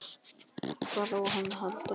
Hvað á hann að halda?